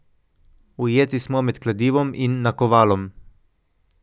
Ujeti smo med kladivom in nakovalom.